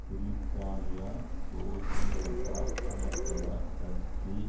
பிரித்தானிய சோசியலிச சமத்துவ கட்சி